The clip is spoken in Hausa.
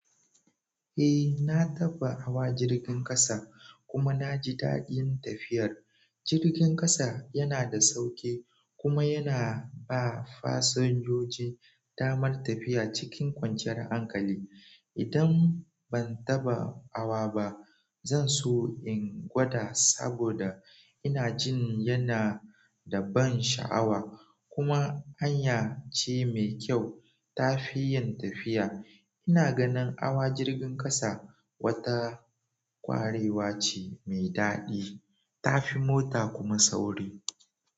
Eh, na taɓa hawa jirgin ƙasa kuma na ji daɗin tafiyar. Jirgin ƙasa yana da sauƙi kuma yana ba fasinjoji damar tafiya cikin kwanciyar hankali. Idan ban taɓa hawa ba, zan so in gwada saboda ina jin yana da ban sha'awa kuma hanya ce mai kyau tafi yin tafiya. Ina ganin hawa jirgin ƙasa wata ƙwarewa ce mai daɗi, tafi mota kuma sauri.